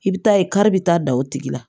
I bɛ taa ye kari bɛ taa da o tigi la